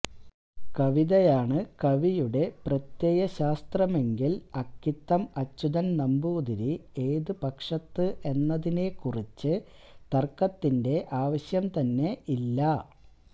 കവിതയാണ് കവിയുടെ പ്രത്യയശാസ്ത്രമെങ്കില് അക്കിത്തം അച്യൂതന് നമ്പൂതിരി ഏതു പക്ഷത്ത് എന്നതിനെക്കുറിച്ച് തര്ക്കത്തിന്റെ ആവശ്യം തന്നെ ഇല്ല